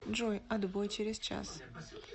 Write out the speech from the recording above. джой отбой через час